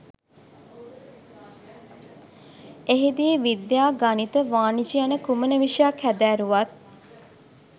එහිදී විද්‍යා ගණිත වාණිජ යන කුමන විෂයක් හැදෑරුවත්